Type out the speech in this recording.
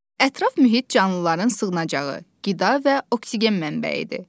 Ətraf mühit canlıların sığınacağı, qida və oksigen mənbəyidir.